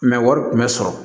wari tun bɛ sɔrɔ